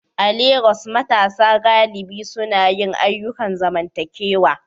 A Legas, matasa galibi suna yin ayyukan zamantakewa